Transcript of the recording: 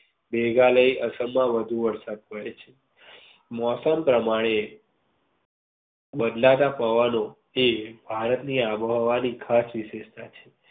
મેઘાલય અસમ માં વધુ વરસાદ પડે છે. મોસમ પ્રમાણે બદલાતા પવનો જે ભારત ની આબોહવા ની ખાસ વિશેષતા છે.